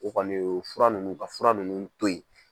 O kɔni fura ninnu u ka fura ninnu to yen.